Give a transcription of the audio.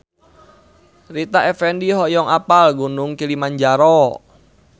Rita Effendy hoyong apal Gunung Kilimanjaro